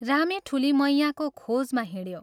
रामे ठूली मैयाँको खोजमा हिंड्यो।